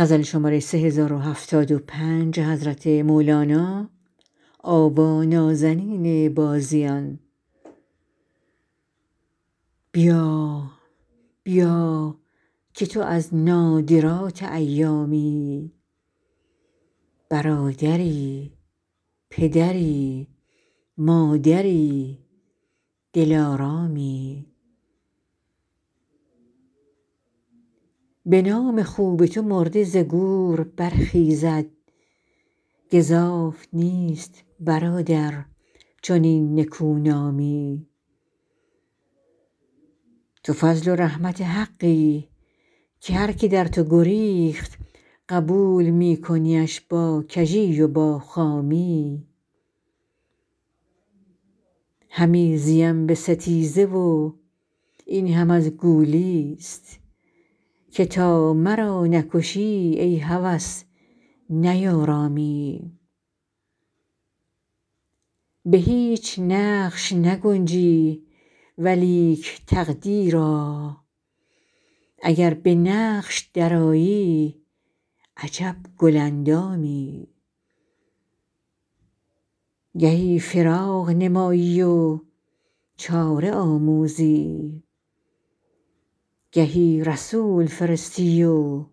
بیا بیا که تو از نادرات ایامی برادری پدری مادری دلارامی به نام خوب تو مرده ز گور برخیزد گزاف نیست برادر چنین نکونامی تو فضل و رحمت حقی که هر که در تو گریخت قبول می کنیش با کژی و با خامی همی زیم به ستیزه و این هم از گولی ست که تا مرا نکشی ای هوس نیارامی به هیچ نقش نگنجی ولیک تقدیرا اگر به نقش درآیی عجب گل اندامی گهی فراق نمایی و چاره آموزی گهی رسول فرستی و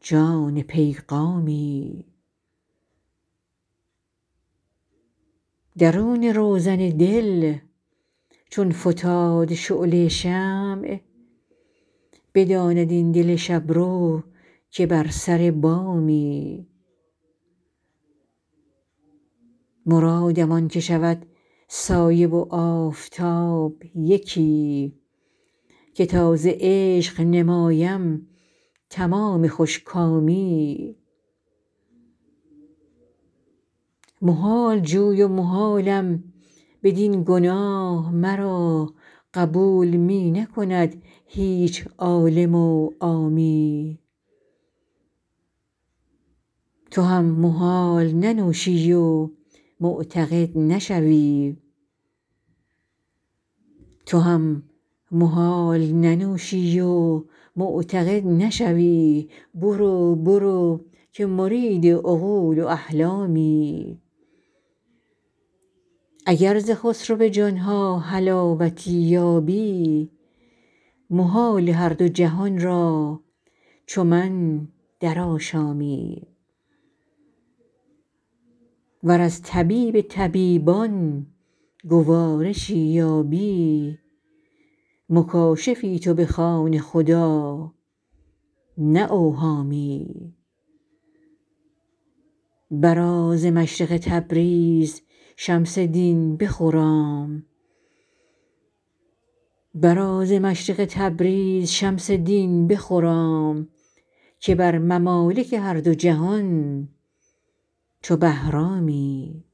جان پیغامی درون روزن دل چون فتاد شعله شمع بداند این دل شب رو که بر سر بامی مرادم آنکه شود سایه و آفتاب یکی که تا ز عشق نمایم تمام خوش کامی محال جوی و محالم بدین گناه مرا قبول می نکند هیچ عالم و عامی تو هم محال ننوشی و معتقد نشوی برو برو که مرید عقول و احلامی اگر ز خسرو جان ها حلاوتی یابی محال هر دو جهان را چو من درآشامی ور از طبیب طبیبان گوارشی یابی مکاشفی تو بخوان خدا نه اوهامی برآ ز مشرق تبریز شمس دین بخرام که بر ممالک هر دو جهان چو بهرامی